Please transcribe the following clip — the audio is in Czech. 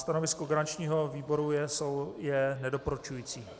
Stanovisko garančního výboru je nedoporučující.